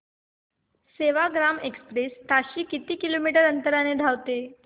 Sevagram express ताशी किती kilometre अंतराने धावते